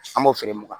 An b'o feere mugan